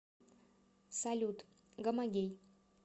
салют гомогей